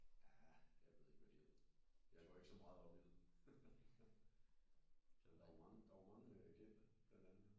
Jaa jeg ved ikke hvad de hedder jeg går ikke så meget op i det der var mange der var mange kendte blandt andet